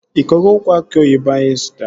Ị kọgo ukwu aki oyibo ahụ ị zụtara?